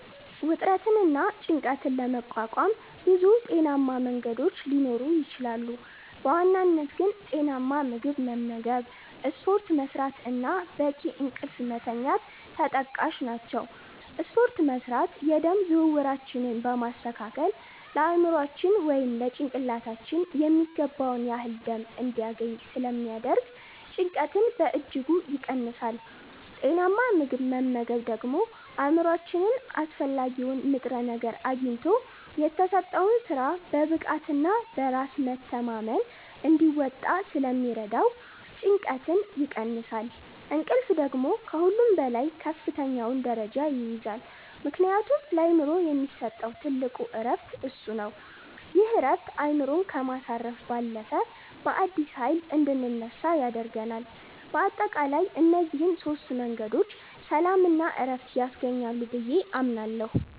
ውጥረትንና ጭንቀትን ለመቋቋም ብዙ ጤናማ መንገዶች ሊኖሩ ይችላሉ፤ በዋናነት ግን ጤናማ ምግብ መመገብ፣ ስፖርት መስራት እና በቂ እንቅልፍ መተኛት ተጠቃሽ ናቸው። ስፖርት መስራት የደም ዝውውራችንን በማስተካከል ለአእምሯችን (ጭንቅላታችን) የሚገባውን ያህል ደም እንዲያገኝ ስለሚያደርግ ጭንቀትን በእጅጉ ይቀንሳል። ጤናማ ምግብ መመገብ ደግሞ አእምሯችን አስፈላጊውን ንጥረ ነገር አግኝቶ የተሰጠውን ሥራ በብቃትና በራስ መተማመን እንዲወጣ ስለሚረዳው ጭንቀትን ይቀንሳል። እንቅልፍ ደግሞ ከሁሉም በላይ ከፍተኛውን ደረጃ ይይዛል፤ ምክንያቱም ለአእምሮ የሚሰጠው ትልቁ ዕረፍት እሱ ነው። ይህ ዕረፍት አእምሮን ከማሳረፍ ባለፈ፣ በአዲስ ኃይል እንድንነሳ ያደርገናል። በአጠቃላይ እነዚህ ሦስት መንገዶች ሰላምና ዕረፍት ያስገኛሉ ብዬ አምናለሁ።